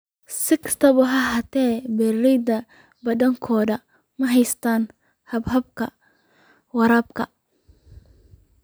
Si kastaba ha ahaatee, beeralayda badankoodu ma haystaan ??hababka waraabka.